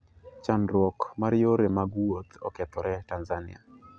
Chandruok mar yore mag uoth okethore Tanzania.